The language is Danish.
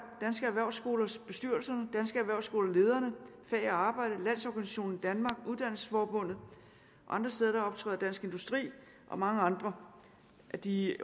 danske erhvervsskoler bestyrelserne danske erhvervsskoler lederne fag og arbejde landsorganisationen i danmark og uddannelsesforbundet og andre steder optræder dansk industri og mange andre af de